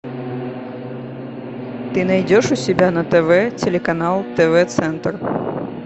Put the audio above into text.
ты найдешь у себя на тв телеканал тв центр